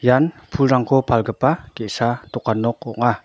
ian pulrangko palgipa ge·sa dokan nok ong·a.